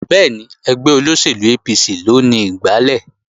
Bẹ́ẹ̀ni, ẹgbẹ́ APC ló ni igbálẹ̀